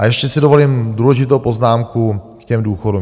A ještě si dovolím důležitou poznámku k těm důchodům.